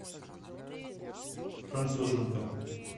француженка